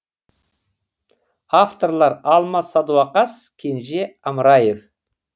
авторлар алмас садуақас кенже амраев